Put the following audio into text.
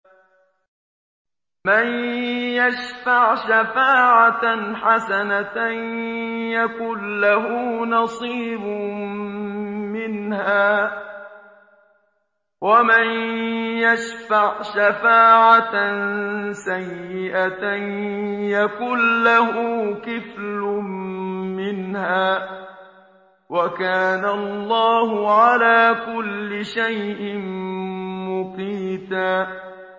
مَّن يَشْفَعْ شَفَاعَةً حَسَنَةً يَكُن لَّهُ نَصِيبٌ مِّنْهَا ۖ وَمَن يَشْفَعْ شَفَاعَةً سَيِّئَةً يَكُن لَّهُ كِفْلٌ مِّنْهَا ۗ وَكَانَ اللَّهُ عَلَىٰ كُلِّ شَيْءٍ مُّقِيتًا